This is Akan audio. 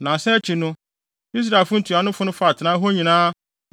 Nnansa akyi no, Israelfo ntuanofo no faa atenae hɔ nyinaa